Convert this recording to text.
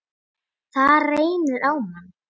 Það reynir á mann!